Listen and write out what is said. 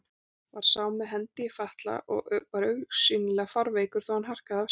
Var sá með hendi í fatla og var augsýnilega fárveikur, þó hann harkaði af sér.